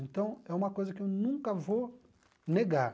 Então, é uma coisa que eu nunca vou negar.